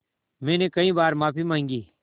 मैंने कई बार माफ़ी माँगी